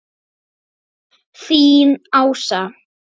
Þín Ása.